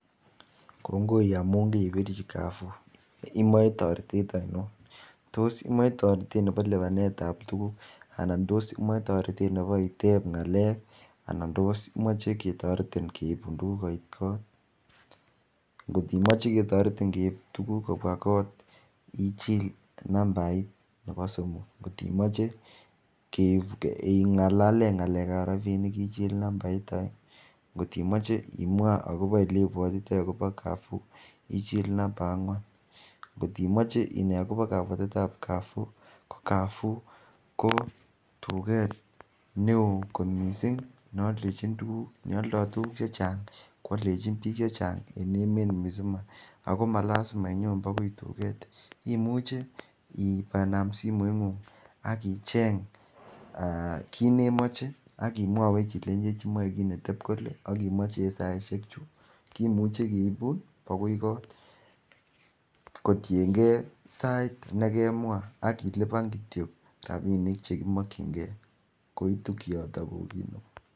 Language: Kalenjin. Kongoi amuun kaibichi kaafo, imoe toretet ainon, tos imoe toretet nebo libanetab tuguk anan tos imoe toretet nebo iteb ng'alek anan tos imoe ketoretin akeibun tuguk koit kot kotimoche ketoretin keib tuguk kobua kot ichil numbait nebo somok, kotimoche ing'alalen ng'alekab rabinik ichil numbait aenge, atimoche imwaa akobo elebuatitai akobo kaafo ichil numbait ang'uan atimoche inai akobo kabuatetab kaafo ichil nambait ko tuket neoogot missing nealdo tuguk chechang koaldechin bik chechang en emeet komugul muzima Ako malisima inyoon bokoi tuket imuche I am simoitng'ung akicheng kinemoe akimwawech ilenchech imoe kit koteb kole akilenchech imoe en saisek chu kimuche akeibun akoi kot kotien ke sait nekemwa akiliban kityo rabinik chekimakkyinge koitu kioton .